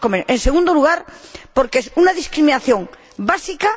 En segundo lugar, porque es una discriminación básica.